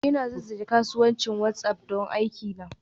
Ina zazzage kasuwancin WhatsApp don aikina.